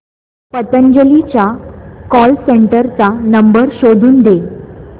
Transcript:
पतंजली च्या call centre चा number शोधून दे